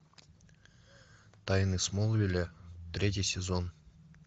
тайны смолвиля третий сезон